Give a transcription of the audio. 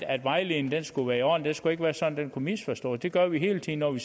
at vejledningen skulle være i orden det skulle ikke være sådan at den kunne misforstås det gør vi hele tiden når vi